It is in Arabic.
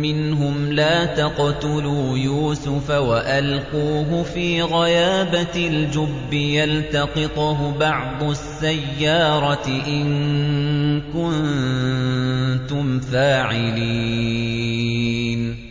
مِّنْهُمْ لَا تَقْتُلُوا يُوسُفَ وَأَلْقُوهُ فِي غَيَابَتِ الْجُبِّ يَلْتَقِطْهُ بَعْضُ السَّيَّارَةِ إِن كُنتُمْ فَاعِلِينَ